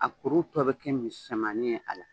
A kuru tɔ bɛ kɛ misɛmanin ye a la.